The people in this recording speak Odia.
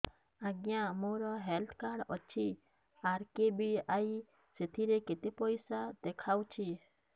ଆଜ୍ଞା ମୋର ହେଲ୍ଥ କାର୍ଡ ଅଛି ଆର୍.କେ.ବି.ୱାଇ ସେଥିରେ କେତେ ପଇସା ଦେଖଉଛି